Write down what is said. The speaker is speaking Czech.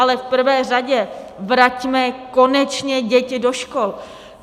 Ale v prvé řadě vraťme konečně děti do škol.